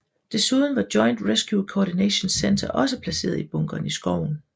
Desuden var Joint Rescue Coordination Centre også placeret i bunkeren i skoven